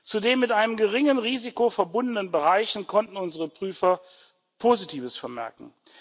Zu den mit einem geringen Risiko verbundenen Bereichen konnten unsere Prüfer Positives vermerken.